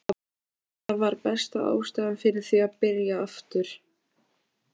Að hætta var besta ástæðan fyrir því að byrja aftur.